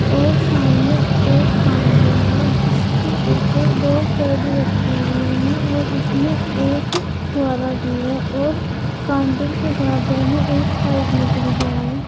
और सामने एक काउंटर है जिसके ऊपर दो पर्दी रखी हुए हैं और उसमें एक फुंवारा भी है और काउंटर के बराबर में एक पाइप निकल रहा है।